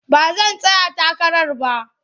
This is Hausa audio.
Ba zan tsaya takara ba.